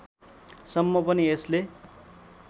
सम्म पनि यसले